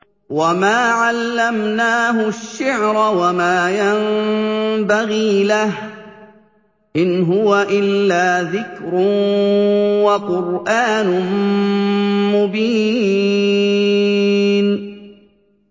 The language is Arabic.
وَمَا عَلَّمْنَاهُ الشِّعْرَ وَمَا يَنبَغِي لَهُ ۚ إِنْ هُوَ إِلَّا ذِكْرٌ وَقُرْآنٌ مُّبِينٌ